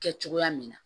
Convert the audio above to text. Kɛ cogoya min na